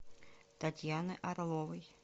татьяны орловой